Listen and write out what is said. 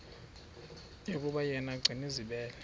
yokuba yena gcinizibele